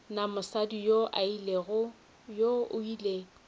na mosadi yoo o ile